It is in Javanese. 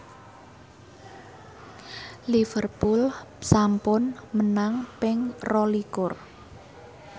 Liverpool sampun menang ping rolikur